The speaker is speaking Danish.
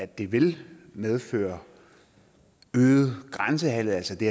det vil medføre øget grænsehandel altså det